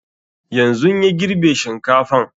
Yanzun ya girbe shinkafan